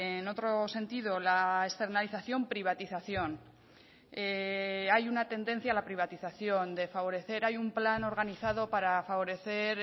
en otro sentido la externalización privatización hay una tendencia a la privatización de favorecer hay un plan organizado para favorecer